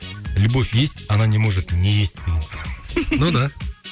любовь есть она не может не есть деген ну да